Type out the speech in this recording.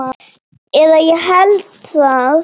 Eða ég held það.